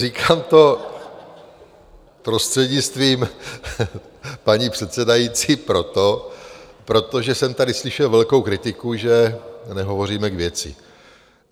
Říkám to prostřednictvím paní předsedající proto, protože jsem tady slyšel velkou kritiku, že nehovoříme k věci.